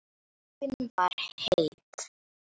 Ástin var heit.